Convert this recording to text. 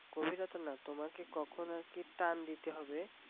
গভীরতা না তোমাকে কখন আর কি টান দিতে হবে